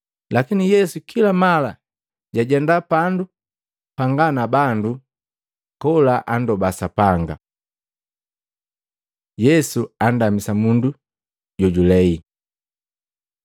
Lakini Yesu kila mala jwajenda pandu panga na bandu, kola andoba Sapanga. Yesu andamisa mundu jojulei Matei 9:1-8; Maluko 2:1-12